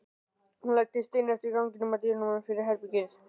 Hún læddist inn eftir ganginum, að dyrunum fyrir herbergi